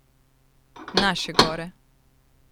Naše gore!